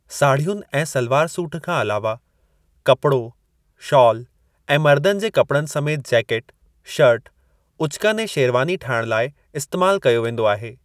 साढ़ियुनि ऐं सलवार सूटु खां अलावह, कपड़ो, शाल ऐं मर्दनि जे कपड़नि समेति जैकिट, शर्ट, उचकन ऐं शेरवानी ठाहिणु लाई इस्तेमाल कयो वेंदो आहे।